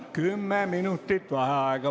Kümme minutit vaheaega.